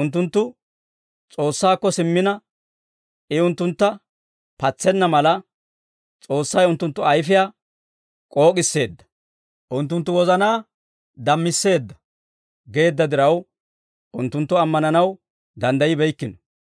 unttunttu S'oossaakko simmina, I unttuntta patsenna mala, S'oossay unttunttu ayfiyaa k'ook'isseedda. Unttunttu wozanaa dammisseedda» geedda diraw, unttunttu ammananaw danddayibeykkino.